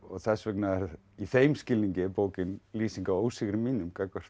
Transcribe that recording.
þess vegna í þeim skilningi er bókin lýsing á ósigri mínum